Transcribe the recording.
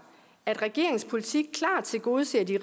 at regeringens politik klart tilgodeser de